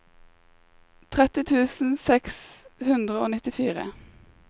tretti tusen seks hundre og nittifire